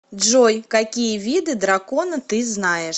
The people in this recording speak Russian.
джой какие виды драконы ты знаешь